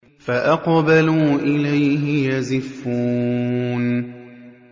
فَأَقْبَلُوا إِلَيْهِ يَزِفُّونَ